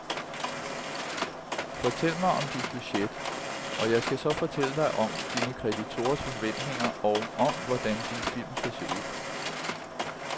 Fortæl mig om dit budget, og jeg skal så fortælle dig om dine kreditorers forventninger og om, hvordan din film skal se ud.